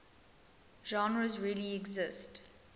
genres really exist